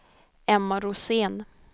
Emma Rosén